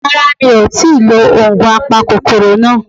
Rárá mi ò tíì lo ògùn apakòkòrò náà